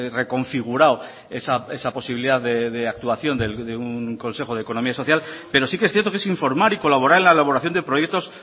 reconfigurado esa posibilidad de actuación de un consejo de economía social pero sí que es cierto que es informar y colaborar en la elaboración de proyectos